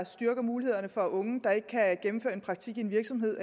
styrker mulighederne for at unge der ikke kan gennemføre en praktik i en virksomhed